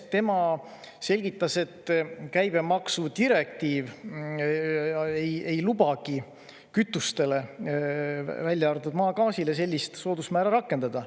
Tema selgitas, et käibemaksu direktiiv ei lubagi kütustele, välja arvatud maagaasile, sellist soodusmäära rakendada.